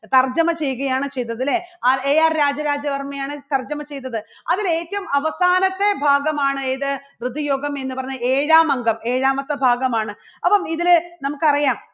തർജ്ജമ ചെയ്യുകയാണ് ചെയ്തത് അല്ലേ? AR രാജരാജവർമ്മയാണ് തർജ്ജമ ചെയ്തത്. അതിൽ ഏറ്റവും അവസാനത്തെ ഭാഗമാണ് ഏത് ഋതു യോഗം എന്ന് പറഞ്ഞ ഏഴാം അംഗം ഏഴാമത്തെ ഭാഗം ആണ്. അപ്പോ ഇതിനെ നമുക്കറിയാം